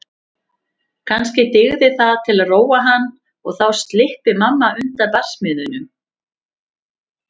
Kannski dygði það til að róa hann og þá slyppi mamma undan barsmíðunum.